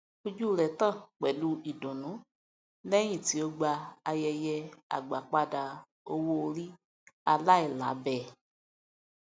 ojú rẹ tàn pẹlú ìdùnnú lẹyìn tí ó gba ayẹyẹ agbápadà owóòrí aláìlábẹẹ